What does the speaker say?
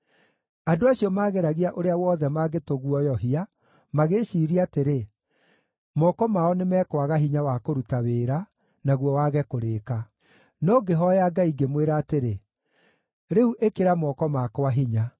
Andũ acio maageragia ũrĩa wothe mangĩtũguoyohia, magĩĩciiria atĩrĩ, “Moko mao nĩmekwaga hinya wa kũruta wĩra, naguo wage kũrĩĩka.” No ngĩhooya Ngai, ngĩmwĩra atĩrĩ, “Rĩu ĩkĩra moko makwa hinya.”